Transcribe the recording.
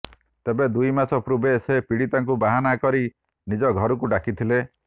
ତେବେ ଦୁଇ ମାସ ପୂର୍ବେ ସେ ପୀଡିତାକୁ ବାହାନା କରି ନିଜ ଘରକୁ ଡାକିଥିଲା